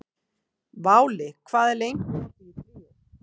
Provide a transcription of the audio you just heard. Váli, hvað er lengi opið í Tríó?